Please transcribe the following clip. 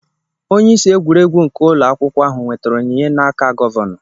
Onyeisi egwuregwu nke ụlọ akwụkwọ ahụ nwetara onyinye n'aka Gọvanọ.